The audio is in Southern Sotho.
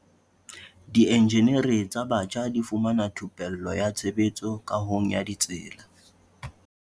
Dienjeniri tsa batjha di fumana thupello ya tshebetso kahong ya ditsela.